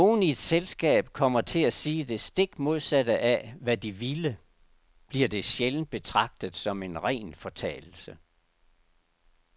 Hvis nogen i et selskab kommer til at sige det stik modsatte af, hvad de ville, bliver det sjældent betragtet som en ren fortalelse.